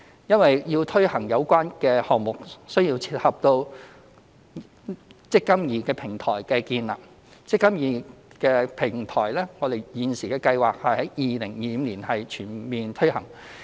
因為要推行這項目，需要配合建立"積金易"平台，而"積金易"平台現時計劃在2025年全面推行。